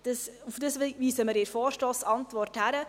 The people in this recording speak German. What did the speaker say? Darauf weisen wir in der Vorstossantwort hin.